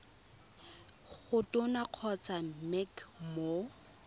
go tona kgotsa mec mo